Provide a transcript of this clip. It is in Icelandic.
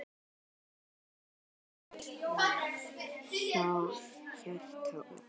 Sjö grönd með hjarta út.